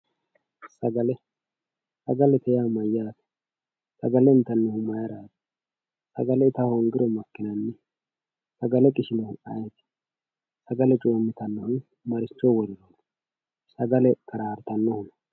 sagale sagalete yaa mayaate sagale intannihu maayiiraati sagale ita hoongiro makinanni sagale qishihu makkanno sagale coomitayohu maricho worreenaati sagale qarartanohu.